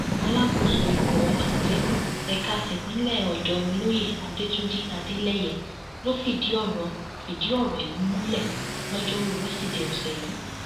alákòóso ikọ amọtẹkùn ẹka tipinlẹ ọdọ olóyè adẹtúnjì adeleye ló fìdí ọrọ fìdí ọrọ yìí múlẹ lojoruu wesidee ọsẹ yìí